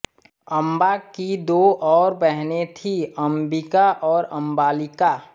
अम्बा की दो और बहनें थीं अम्बिका और अम्बालिका